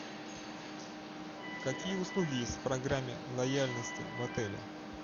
какие услуги есть в программе лояльности в отеле